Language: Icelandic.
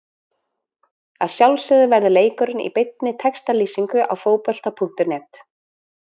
Að sjálfsögðu verður leikurinn í beinni textalýsingu á Fótbolta.net.